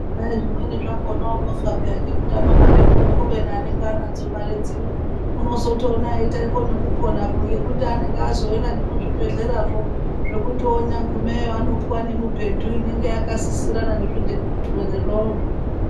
Kwaizvimweni zvakona unofa peya ngekutama mare kuno kubeni anonga anadzo mare dzino unozotoona eita nekupona ngekuti anenge azoenda nekuzvebhehlerazvo zvokuti onyagumeyo anopuwa nemibhedhu inonga yakasisirana nezvirwere zvavozvo.